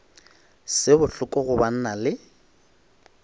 se bohloko go banna le